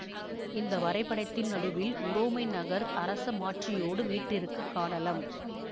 இந்த வரைபடத்தின் நடுவில் உரோமை நகர் அரச மாட்சியோடு வீற்றிருக்கக் காணலம்